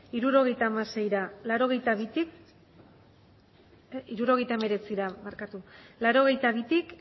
hirurogeita hemeretzira laurogeita bitik